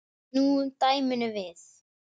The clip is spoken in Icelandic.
Snúum dæminu við.